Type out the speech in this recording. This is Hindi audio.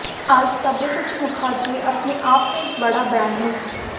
आज सब्यसाची मुखर्जी अपने आप में एक बड़ा ब्रांड हैं